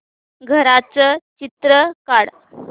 घराचं चित्र काढ